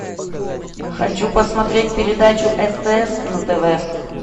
хочу посмотреть передачу стс на тв